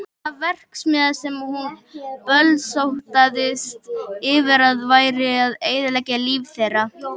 Þá var það verksmiðjan sem hún bölsótaðist yfir að væri að eyðileggja líf þeirra.